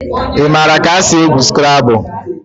Ị maara ka esi egwu Skrabụl?